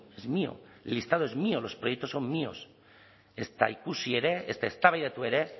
es mío el listado es mío los proyectos son míos ezta ikusi ere ezta eztabaidatu ere